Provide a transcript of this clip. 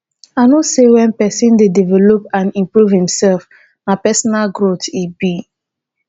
i know say when pesin dey develop and improve imself na personal growth e be